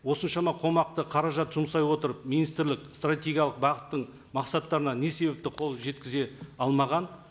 осыншама қомақты қаражат жұмсай отырып министрлік стратегиялық бағыттың мақсаттарына не себепті қол жеткізе алмаған